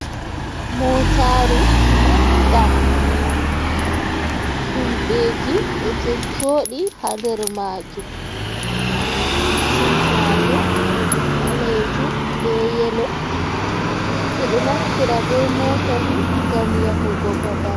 Motaru manga himɓeji ɗo Jojo ɗi ha nder majum, sit majum ɓalejum be yelo, ɓe ɗo naftira be mota ni ngam yahugo babal.